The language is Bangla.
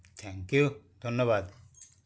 thank you ধন্যবাদ